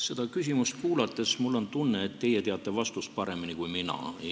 Seda küsimust kuulates tekkis mul tunne, et teie teate vastust paremini kui mina.